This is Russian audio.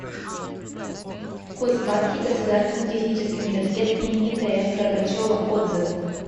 кузбасский государственный технический университет имени тф горбачева отзывы